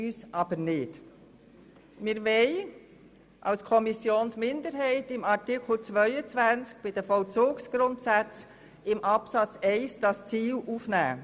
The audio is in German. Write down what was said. Die Kommissionsminderheit will unter Artikel 22 bei den Vollzugsgrundsätzen unter Absatz 1 dieses Ziel aufnehmen.